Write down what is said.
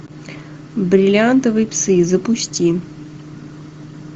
бриллиантовые псы запусти